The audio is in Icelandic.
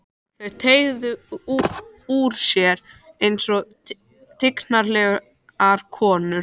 Þau teygðu úr sér einsog tignarlegar konur.